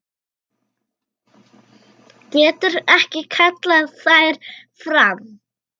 Getur ekki kallað þær fram.